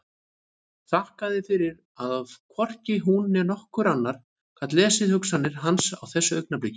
Þakkaði fyrir að hvorki hún né nokkur annar gat lesið hugsanir hans á þessu augnabliki.